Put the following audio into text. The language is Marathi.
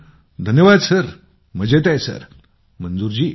मंजूर जी धन्यवाद सर मजेत आहोत सर